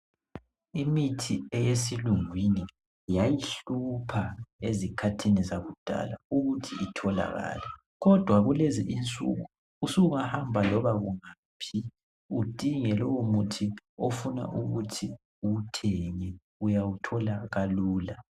Imithi eyesilungwini yayihlupha ezikhathini zakudala ukuthi itholakale, kodwa kulezi insuku usungahamba loba kungaphi udinge lowo muthi ofuna ukuthi uwuthenge uyawuthola kalula.